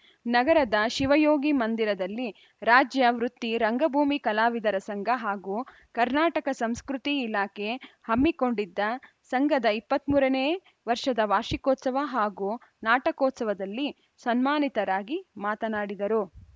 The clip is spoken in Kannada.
ನಗರದ ಶಿವಯೋಗಿ ಮಂದಿರದಲ್ಲಿ ರಾಜ್ಯ ವೃತ್ತಿ ರಂಗಭೂಮಿ ಕಲಾವಿದರ ಸಂಘ ಹಾಗೂ ಕರ್ನಾಟಕ ಸಂಸ್ಕೃತಿ ಇಲಾಖೆ ಹಮ್ಮಿಕೊಂಡಿದ್ದ ಸಂಘದ ಇಪ್ಪತ್ತ್ ಮೂರನೇ ವರ್ಷದ ವಾರ್ಷಿಕೋತ್ಸವ ಹಾಗೂ ನಾಟಕೋತ್ಸವದಲ್ಲಿ ಸನ್ಮಾನಿತರಾಗಿ ಮಾತನಾಡಿದರು